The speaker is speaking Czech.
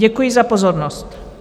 Děkuji za pozornost.